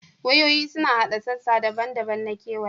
Wayoyi suna haɗa sassa daban-daban na kewayawa